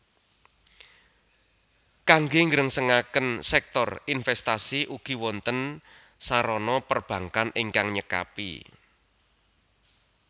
Kangge nggrengsengaken sèktor inventasi ugi wonten sarana perbankkan ingkang nyekapi